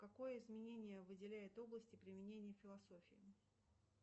какое изменение выделяют области применения философии